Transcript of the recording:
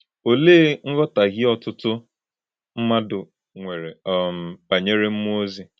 Olee nghọtahie ọtụtụ mmadụ nwere um banyere mmụọ ozi?